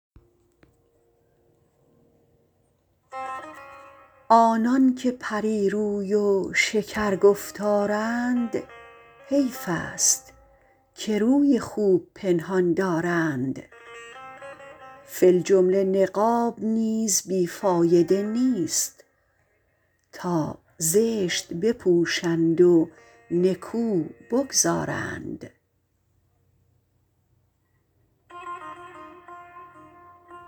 آنان که پری روی و شکر گفتارند حیف ست که روی خوب پنهان دارند فی الجمله نقاب نیز بی فایده نیست تا زشت بپوشند و نکو بگذارند